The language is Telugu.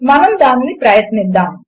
మనము దానిని ప్రయత్నిద్దాము